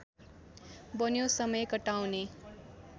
बन्यो समय कटाउने